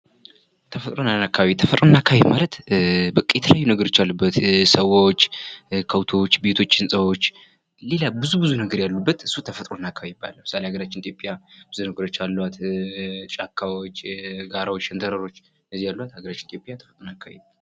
ተፈጥሮና አካባቢ ተፈጥሮና አካባቢ ማለትበቃ የተለያዩ ነገሮች ያሉበት ሰዎች ከብቶች ቤቶች ህንፃዎች ሌላም ብዙ ብዙ ነገር ያሉበት ተፈጥሮና አካባቢ ይባላል። ምሳሌ አገራችን ኢትዮጵያ ብዙ ነገሮች አሏት። ጫካዎች ጋራዎች ሸንተረሮች እነዚህ አሏት አገራችን ኢትዮጵያ።